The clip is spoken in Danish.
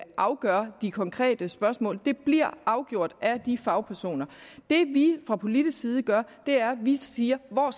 afgør de konkrete spørgsmål det bliver afgjort af de fagpersoner det vi fra politisk side gør er at vi siger hvor